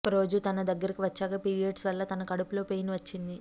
ఒక రోజు తన దగ్గరకు వచ్చాక పీరియడ్స్ వల్ల తనకు కడుపులో పెయిన్ వచ్చింది